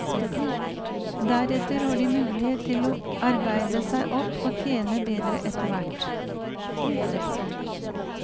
Deretter har de mulighet til å arbeide seg opp og tjene bedre etterhvert.